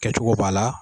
Kɛcogo b'a la